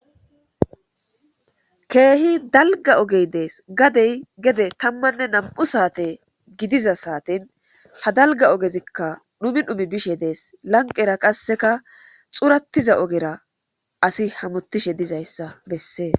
keehi dalga ogey dees gadey gede tammanne nam7u saate gidiza saatin ha dalga ogezikka dhumi dhumi bishe dees lanqera qasseka xurattiza ogera asi hamotishe dizayssa bessees